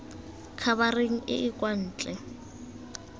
khabareng e e kwa ntle